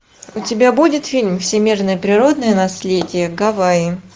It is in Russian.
у тебя будет фильм всемирное природное наследие гавайи